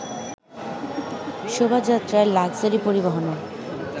শুভযাত্রার luxury পরিবহনে